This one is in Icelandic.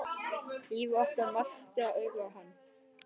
Líf okkar margra auðgaði hann.